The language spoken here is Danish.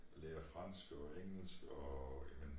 Lære fransk og engelsk og ja